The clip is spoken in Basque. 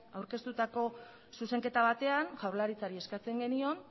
aurkeztutako zuzenketa batean jaurlaritzari eskatzen genion